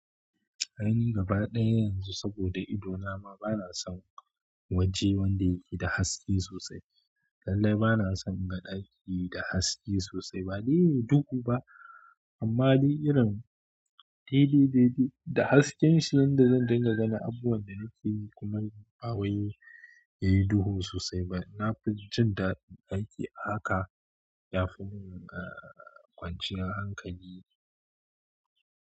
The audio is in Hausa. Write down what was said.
Aini gaba ɗaya yanzu saboda ido na ma bana son waje wanda yake da haske sosai. Lallai bana son in ga ɗaki da haske sosai, ba de yin duhu ba. Amma dai irin dede dede da hasken shi yanda zan dinga ganin abuwan da nake yi kuma bawai yayi duhu sosai. Ba na fi jin daɗin aiki a haka yafi mun ka kwanciya hankali.